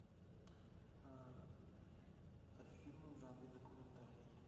фильмы в жанре документальный